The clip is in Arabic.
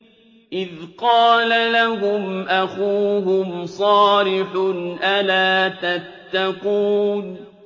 إِذْ قَالَ لَهُمْ أَخُوهُمْ صَالِحٌ أَلَا تَتَّقُونَ